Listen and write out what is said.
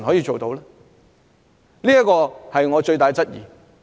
這是我最大的質疑。